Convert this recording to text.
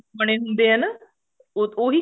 ਬਣੇ ਹੁੰਦੇ ਆ ਨਾ ਉਹੀ ਉਹੀ